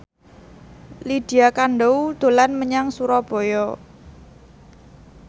Lydia Kandou dolan menyang Surabaya